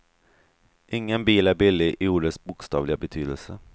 Ingen bil är billig i ordets bokstavliga betydelse.